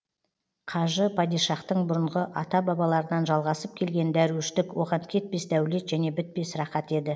қажы падишахтың бұрынғы ата бабаларынан жалғасып келген дәруіштік оған кетпес дәулет және бітпес рақат еді